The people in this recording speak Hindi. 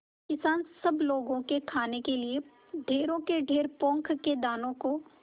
किसान सब लोगों के खाने के लिए ढेरों के ढेर पोंख के दानों को